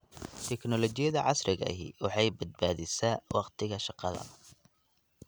Tiknoolajiyada casriga ahi waxay badbaadisaa wakhtiga shaqada.